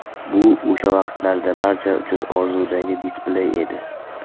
Bu o‘sha vaqtlarda barcha uchun orzudagi displey edi.